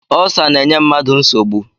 Ulsa na-enye mmadụ nsogbu